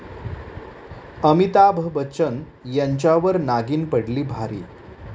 अमिताभ बच्चन यांच्यावर नागिन पडली भारी